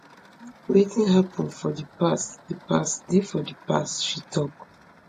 wetin happun for di past di past dey for di past she tok